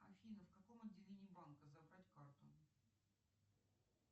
афина в каком отделении банка забрать карту